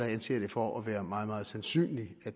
anser det for at være meget meget sandsynligt er